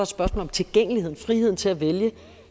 spørgsmål om tilgængeligheden og friheden til at vælge